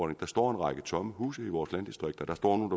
at der står en række tomme huse i vores landdistrikter der står nogle